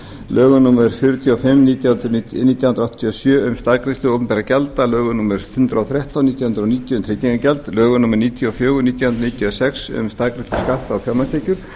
lögum númer fjörutíu og fimm nítján hundruð áttatíu og sjö um staðgreiðslu opinberra gjalda lögum númer hundrað og þrettán nítján hundruð níutíu um tryggingagjald lögum númer níutíu og fjögur nítján hundruð níutíu og sex um staðgreiðslu skatts á fjármagnstekjur